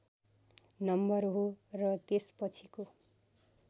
number हो र त्यसपछिको